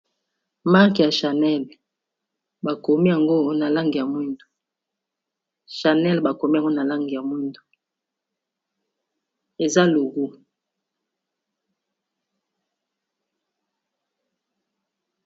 Marque ya channel bakomi yango na langi ya mwindu, channel bakomi yango na langi ya mwindu eza logo.